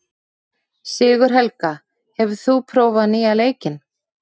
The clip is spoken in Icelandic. Sigurhelga, hefur þú prófað nýja leikinn?